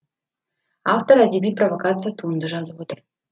автор әдеби провокация туынды жазып отыр